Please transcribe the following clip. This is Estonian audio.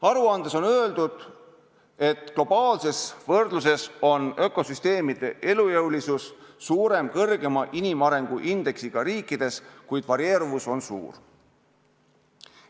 Aruandes on öeldud, et globaalses võrdluses on ökosüsteemide elujõulisus suurem kõrgema inimarengu indeksiga riikides, kuid varieeruvus on suur.